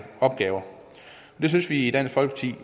opgaver det synes vi i dansk folkeparti at